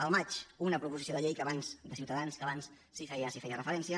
al maig una proposició de llei de ciutadans que abans s’hi feia referència